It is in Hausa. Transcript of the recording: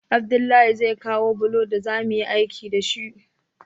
Abdullahi zai kawo bulo daza muyi aiki dashi